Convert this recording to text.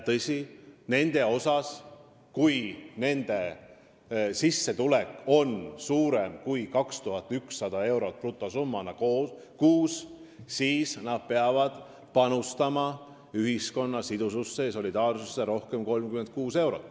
Ja kui nende sissetulek on brutosummana suurem kui 2100 eurot kuus, siis nad peavad tõesti panustama ühiskonna sidususse ja solidaarsusse rohkem kui 36 eurot.